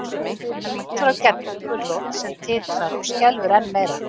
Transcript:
Hann lítur á Geddu gulrót sem titrar og skelfur enn meira.